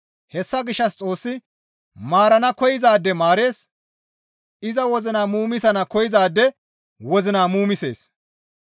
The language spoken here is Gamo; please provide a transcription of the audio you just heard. Hessa gishshas Xoossi maarana koyzaade maarees; iza wozina muumisana koyzaade wozina muumisees.